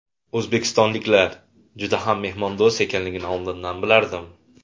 O‘zbekistonliklar juda mehmondo‘st ekanini oldindan bilardim.